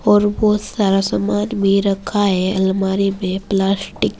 और बहुत सारा सामान भी रखा है अलमारी में प्लास्टिक --